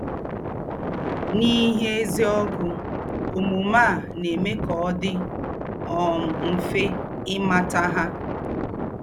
N’íhé èzí ógù, òmùmè à nà-èmè ká ọ̀ dì um mfè ímàtà hà.